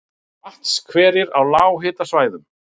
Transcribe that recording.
Vatnshverir á lághitasvæðum